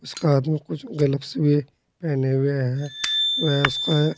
उसका हाथ में कुछ ग्लव्स भी पहने हुए है व उसका--